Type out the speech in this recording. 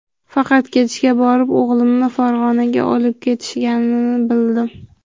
Faqat kechga borib o‘g‘limni Farg‘onaga olib ketishganini bildim.